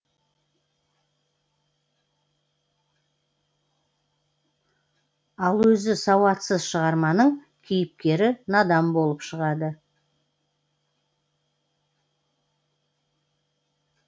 ал өзі сауатсыз шығарманың кейіпкері надан болып шығады